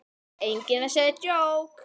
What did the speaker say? Enginn að segja djók?